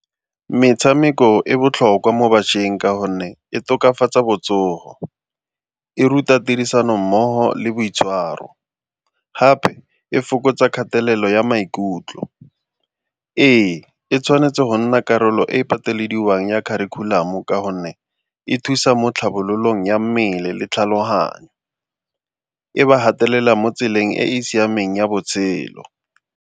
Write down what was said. Metshameko e botlhokwa mo batjheng ka gonne e tokafatsa botsogo, e ruta tirisanommogo le boitshwaro gape e fokotsa kgatelelo ya maikutlo. Ee, e tshwanetse go nna karolo e patelediwang ya kharikhulamo ka gonne e thusa mo tlhabololong ya mmele le tlhaloganyo, e ba gatelela mo tseleng e e siameng ya botshelo.